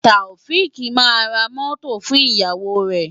Taofiq máa ra mọ́tò fún ìyàwó rẹ̀.